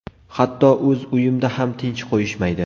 Hatto o‘z uyimda ham tinch qo‘yishmaydi.